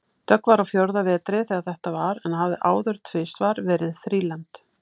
Dögg var á fjórða vetri þegar þetta var en hafði áður tvisvar verið þrílembd.